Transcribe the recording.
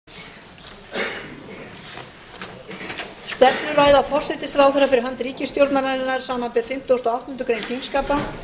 stefnuræða forsætisráðherra fyrir hönd ríkisstjórnarinnar samanber fimmtugasta og áttundu greinar þingskapa